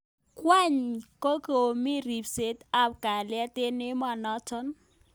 kwaninyi kokimi ribset ab kalyet eng emonotok.